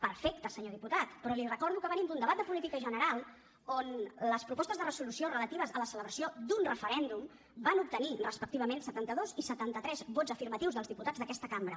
perfecte senyor diputat però li recordo que venim d’un debat de política general on les propostes de resolució relatives a la celebració d’un referèndum van obtenir respectivament setanta dos i setanta tres vots afirmatius dels diputats d’aquesta cambra